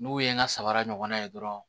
N'u ye n ka sabara ɲɔgɔnna ye dɔrɔn